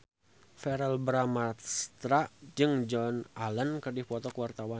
Verrell Bramastra jeung Joan Allen keur dipoto ku wartawan